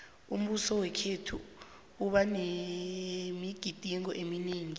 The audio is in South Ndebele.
umbuso wakhethu uba nemigidingo eminingi